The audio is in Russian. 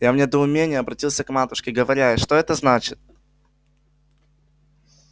я в недоумении обратился к матушке говоря ей что это значит